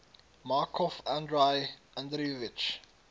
markov andrei andreevich